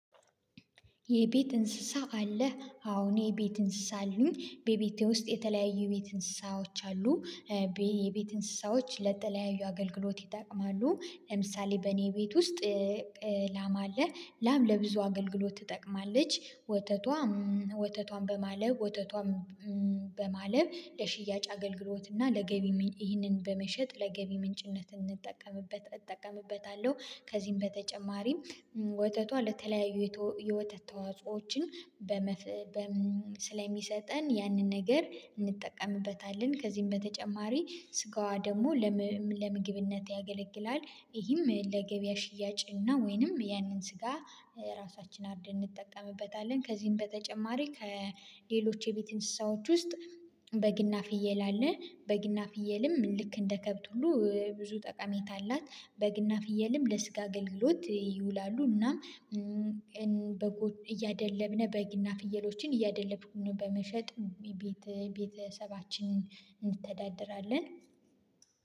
የቤት እንስሳ አለ አዎ እኔ የቤት እንስሳ አሉኝ በቤቴ ውስጥ የተለያዩ የቤት እንስሳዎች አሉ። የቤት እንስሳዎች ለተለያዩ አገልግሎት ይጠቅማሉ። ለምሳሌ በእኔ ቤት ውስጥ ላማ አለ። ላም ለብዙ አገልግሎት ትጠቅማለች ወተቷም ወተቷን በማለብ ወተቷን በማለብ ለሽያጭ አገልግሎት እና ለገቢ ይህንን በመሸጥ ለገቢ ምንጭነት እንጠቀምበት እጠቀምበታለሁ። ከዚህም በተጨማሪም ወተቷ ለተለያዩ የወተት ተዋጾዎችን ስለሚሰጠን ያንን ነገር እንጠቀምበታለን ከዚህም በተጨማሪ ስጋዋ ደግሞ ለምግብነት ያገለግላል። ይህም ለገበያ ሽያጭ እና ወይንም ያንን ስጋ ራሳችን አርደን እንጠቀምበታለን። ከዚህም በተጨማሪ ከሌሎች የቤት እንስሳዎች ውስጥ በግና ፍየል አለ። በግና ፍየልም ልክ እንደ ከብት ሁሉ ብዙ ጠቃሜታ አላት በግና ፍየልም ለስጋ አገልግሎት ይውላሉ። እና በጒን እያደለብን በግና ፍየሎችን እያደለብን በመሸጥ ቤተ ሰባችንን እንተዳደለራለን።